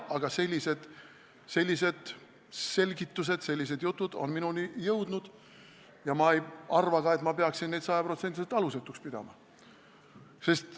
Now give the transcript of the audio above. Aga sellised selgitused, sellised jutud on minu kõrvu jõudnud ja ma ei arva ka, et ma peaksin neid sajaprotsendiliselt alusetuks pidama.